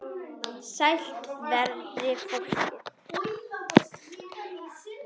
Sælt veri fólkið!